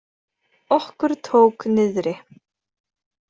Okkur tók niðri!